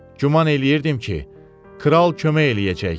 Güman eləyirdim ki, kral kömək eləyəcək.